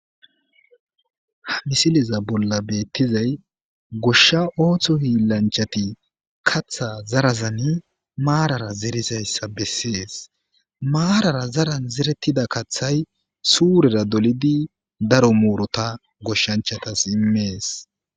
Ha misileza bolla beettizay goshsha ooththo hiillanchati katha zarazani maarara zerizayssa bessees maarara zaran zerettida kathay suurera dolidi daro muurota goshshanchatas immees